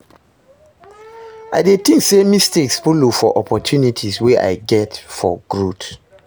i dey think say mistakes follow for opportunities wey i get for growth.